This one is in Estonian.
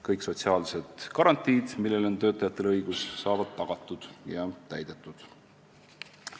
Kõik sotsiaalsed garantiid, millele töötajatel on õigus, saavad tagatud ja täidetud.